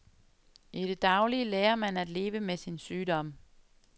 I det daglige lærer man at leve med sin sygdom.